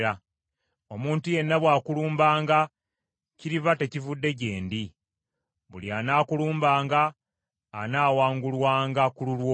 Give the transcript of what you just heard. Omuntu yenna bwakulumbanga kiriba tekivudde gye ndi. Buli anaakulumbanga anaawangulwanga ku lulwo.